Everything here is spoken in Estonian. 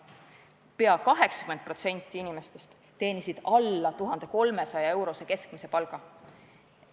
Pea 80% inimestest teenis alla 1300-eurose keskmise palga.